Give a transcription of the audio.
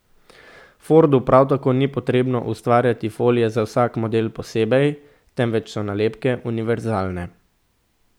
Fordu prav tako ni potrebno ustvarjati folije za vsak model posebej, temveč so nalepke univerzalne.